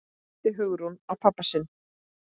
æpti Hugrún á pabba sinn.